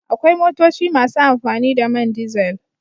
Akwai motoci masu amfani da man dizel.